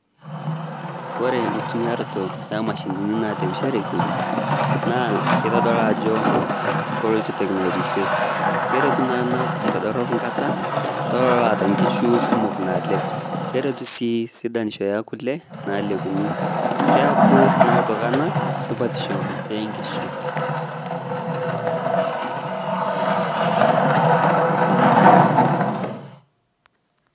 kore nkutumiarotoo e mashinini nalepisherekii naa keitodoluu ajo koloito teknoloji kwee keretu naa anaa aitodorop nkata tololo loata nkishu kumok naalep keretu sii sidanisho ee kule nalepuni keapu naa otoki anaa supatisho ee nkishu